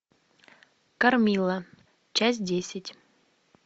кармилла часть десять